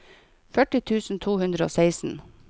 førti tusen to hundre og seksten